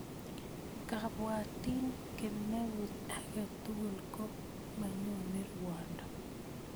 Ngabwatin kemout ake tukul ko manyone rwondo.